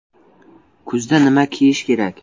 Kuzda nima kiyish kerak?